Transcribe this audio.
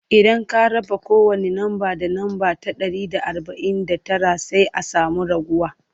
idan ka raba kowani namba da namba ta Dari da arbain da Tara sai an samu raguwa